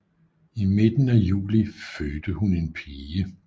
I midten af juli fødte hun en pige